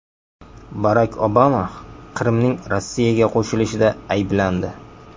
Barak Obama Qrimning Rossiyaga qo‘shilishida ayblandi.